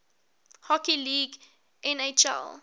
hockey league nhl